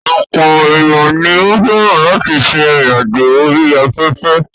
Ọ̀pọ̀ ènìyàn ni ó fẹ́ràn láti ṣe ìrìn àjò orí afẹ́fẹ́.